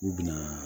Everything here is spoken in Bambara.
U bɛna